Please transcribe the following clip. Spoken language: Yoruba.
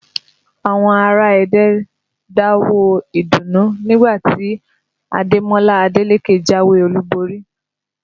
Àwọn ará Ẹdẹ ń dáwọ̀ọ́ ìdùnnú nígbà tí Ademola Adeleke jáwé olúborí